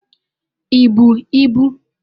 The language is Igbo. I bu ibu?